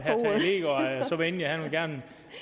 så venlig at han gerne